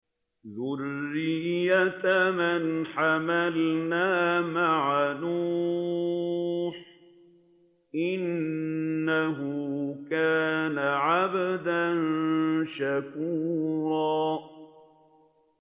ذُرِّيَّةَ مَنْ حَمَلْنَا مَعَ نُوحٍ ۚ إِنَّهُ كَانَ عَبْدًا شَكُورًا